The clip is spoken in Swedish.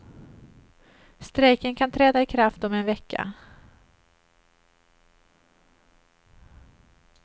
Strejken kan träda i kraft om en vecka.